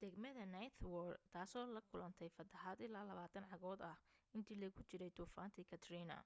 degmada ninth ward ,taasoo la kulanatay fatahaad ilaa 20 cagood ah intii lagu jiray duufaantii katrina